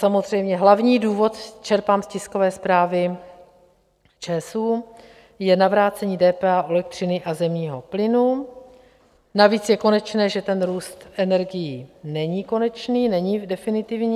Samozřejmě hlavní důvod, čerpám z tiskové zprávy ČSÚ, je navrácení DPH u elektřiny a zemního plynu, navíc je konečné, že ten růst energií není konečný, není definitivní.